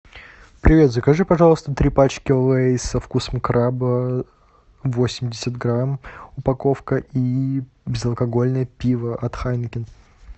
привет закажи пожалуйста три пачки лейс со вкусом краба восемьдесят грамм упаковка и безалкогольное пиво от хайнекен